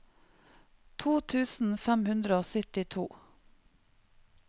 to tusen fem hundre og syttito